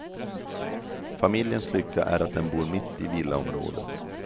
Familjens lycka är att den bor mitt i villaområdet.